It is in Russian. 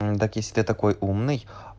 так если ты такой умный